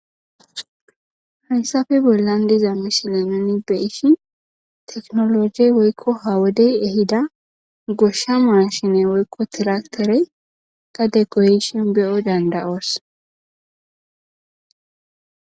Haysafe bollan diza mishilaneni beishi teknologe woykko ha wodey ehida goshsha maa shine woykko tirakterey gade goyshin beyo dandayoos